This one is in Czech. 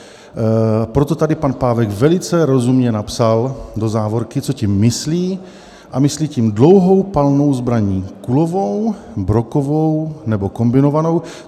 Proto tady pan Pávek velice rozumně napsal do závorky, co tím myslí, a myslí tím dlouhou palnou zbraň kulovou, brokovou nebo kombinovanou.